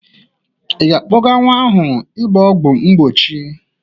Ị ga-akpọga nwa ahụ ịgba ọgwọ mbochi?